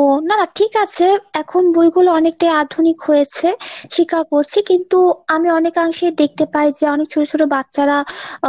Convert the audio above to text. ও না না ঠিক আছে। এখন বইগুলো অনেকটাই আধুনিক হয়েছে স্বীকার করছি। কিন্তু আমি অনেকাংশেই দেখতে পাই যে অনেক ছোট ছোট বাচ্চারা